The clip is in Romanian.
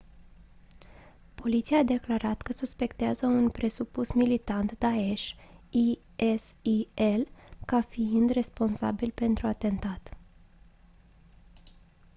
poliția a declarat că suspectează un presupus militant daesh isil ca fiind responsabil pentru atentat